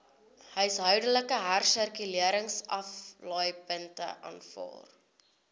huishoudelike hersirkuleringsaflaaipunte aanvaar